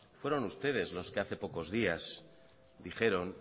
fueron ustedes los que hace pocos días dijeron